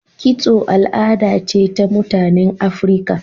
Kitso al'ada ce ta mutanen Afrika.